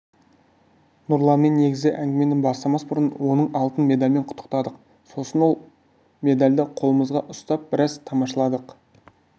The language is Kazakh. нұрланмен негізгі әңгімені бастамас бұрын оны алтын медалімен құттықтадық сосын сол медальді қолымызға ұстап біраз тамашаладық